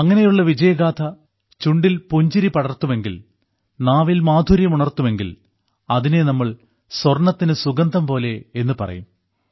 അങ്ങനെയുള്ള വിജയഗാഥ ചുണ്ടിൽ പുഞ്ചിരി പടർത്തുമെങ്കിൽ നാവിൽ മാധുര്യം ഉണർത്തുമെങ്കിൽ അതിനെ നമ്മൾ സ്വർണ്ണത്തിന് സുഗന്ധം പോലെ എന്നുപറയും